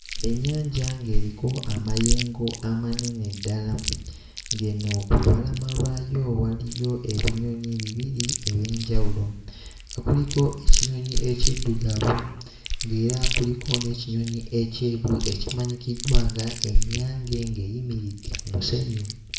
Ennyanja ng'eriko amayengo amanene ddala ng'eno ku lubalama lwayo waliyo ebinyonyi bibiri eby'enjawulo nga kuliko ekinyonyi ekiddugavu ng'era kuliko n'ekinyonyi ekyeru ekimanyikiddwa nga ennyange ng'eyimiridde ku musenyu.